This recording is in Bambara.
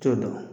T'o dɔn